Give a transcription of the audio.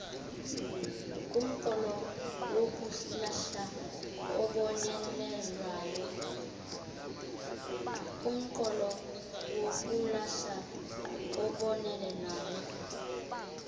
kumqolo wokulahla obonelelwayo